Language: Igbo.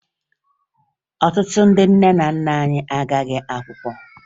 Ọtụtụ ndị nna nna anyị agaghị akwụkwọ